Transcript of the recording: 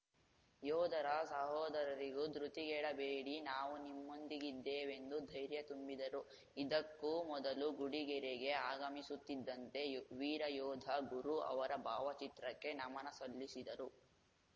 ಯೋಧರ ಸಹೋದರರಿಗೂ ಧೃತಿಗೆಡಬೇಡಿ ನಾವು ನಿಮ್ಮೊಂದಿಗಿದ್ದೇವೆಂದು ಧೈರ್ಯ ತುಂಬಿದರು ಇದಕ್ಕೂ ಮೊದಲು ಗುಡಿಗೆರೆಗೆ ಆಗಮಿಸುತ್ತಿದ್ದಂತೆ ವೀರ ಯೋಧ ಗುರು ಅವರ ಭಾವಚಿತ್ರಕ್ಕೆ ನಮನಸಲ್ಲಿಸಿದರು